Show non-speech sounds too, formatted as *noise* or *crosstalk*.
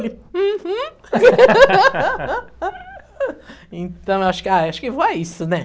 Ela, uhum... *laughs* Então, acho a, acho que vó é isso, né?